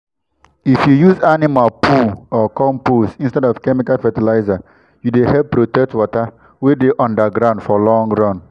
if you use animal poo or compost instead of chemical fertilizer you dey help protect water wey dey under ground for long run